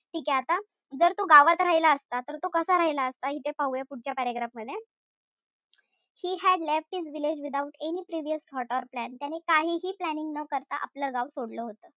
ठीकेय आता जर तो गावात राहिला असता तर तो कसा राहिला असता इथे पाहूया पुढच्या paragraph मध्ये. He had left his village without any previous thought or plan त्याने काहीही planning न करता आपलं गाव सोडलं होत.